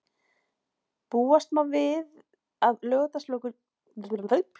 Búast má við að Laugardalsvöllur gæti litið þannig út í framtíðinni.